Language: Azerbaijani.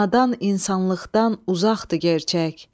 Nadan insanlıqdan uzaqdır gerçək.